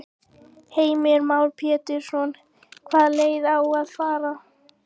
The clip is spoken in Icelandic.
Heimir Már Pétursson: Hvaða leið á að fara?